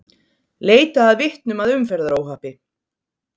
Leita að vitnum að umferðaróhappi